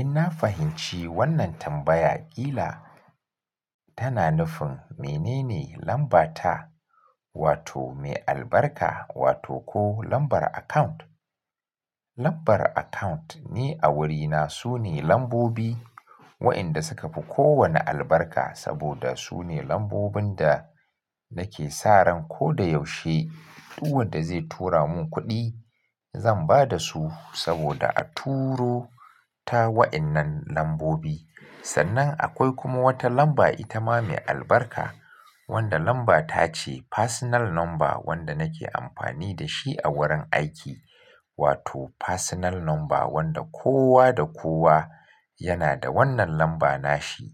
In na fahimci wannan tambaya, ƙila tana nufin menene lambata wato mai albarka wato ko lambar account. Lambar account ni a wurina su ne lambobi wa'inda suka fi kowane albarka saboda su ne lambobin da nake sa ran ko da yaushe duk wanda zai tura mun kuɗi zan ba da su saboda a turo ta wa'innan lambobi. Sannan akwai kuma wata lamba ita ma mai albarka wanda lambata ce personal number wanda nake amfani da shi a wurin aiki wato personal number wanda kowa da kowa yana da wannan lambana shi.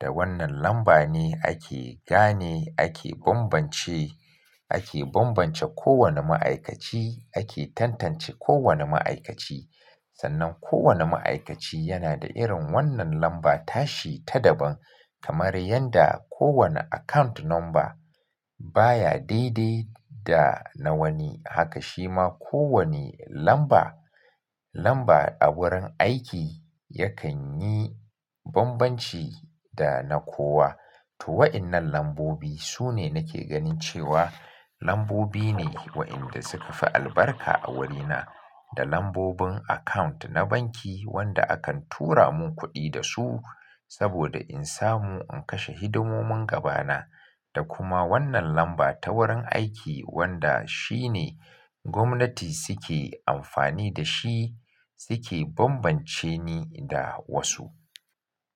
Da wannan lamba ne ake gane, ake bambance, ake bambance kowane ma'aikaci, ake tantance kowane ma'aikaci. Sannan kowane ma'aikaci yana da irin wannan lambata shi ta daban kamar yanda kowane account number baya dai dai da na wani. Haka shima kowane lamba, lamba a wurin aiki yakan yi bambanci da na kowa. To wa'innan lambobi su ne nake ganin cewa lambobi ne wa'inda suka fi albarka a wurina. Da lambobin account na banki wanda akan tura mun kuɗi da su saboda in samu in kashe hidimomin gabana da kuma wannan lamba ta wurin aiki wanda shi ne gwamnati suke amfani da shi suke bambance ni da wasu.